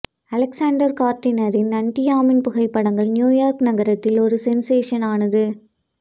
Alexander கார்டினரின் அன்ட்யியாமின் புகைப்படங்கள் நியூ யார்க் நகரத்தில் ஒரு சென்ஸேஷன் ஆனது